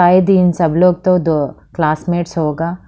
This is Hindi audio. आए दिन सब लोग तो दो क्लासमेट्स होगा।